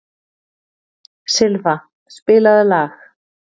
Silfa, spilaðu lag.